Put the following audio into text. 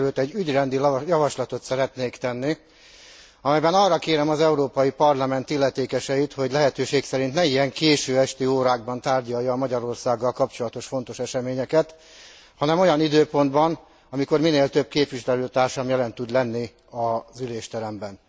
Mindenekelőtt egy ügyrendi javaslatot szeretnék tenni, amelyben arra kérem az Európai Parlament illetékeseit, hogy lehetőség szerint ne ilyen késő esti órákban tárgyalja a Magyarországgal kapcsolatos fontos eseményeket, hanem olyan időpontban, amikor minél több képviselőtársam jelen tud lenni az ülésteremben.